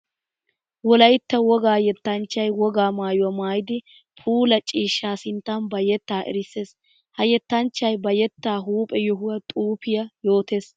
Wolaytta wogga yettanchchay wogaa maayuwa maayiddi puulla ciishsha sinttan ba yetta erissees. Ha yettanchchay ba yetta huuphphe yohuwa xuufiya yootees.